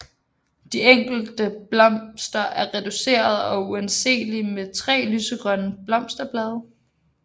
De enkelte blomster er reducerede og uanselige med 3 lysegrønne blosterblade